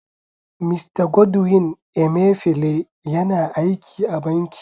Mista Godwin Emefiele yana aiki a Banki.